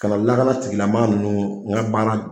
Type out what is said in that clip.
Kana lakana tigilamaa ninnu n ka baara